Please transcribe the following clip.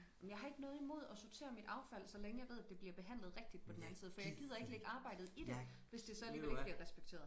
Men jeg har ikke noget imod at sortere mit affald så længe at jeg ved at det bliver behandlet rigtigt på den anden side for jeg gider ikke lægge arbejdet i det hvis det så alligevel ikke bliver respekteret